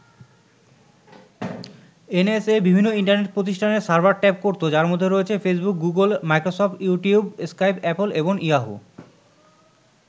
NSA বিভিন্ন internet প্রতিষ্ঠানের server tap করতো যার মধ্যে রয়েছে Facebook, Google, Microsoft, YouTube, Skype, Apple, এবং ইয়াহু।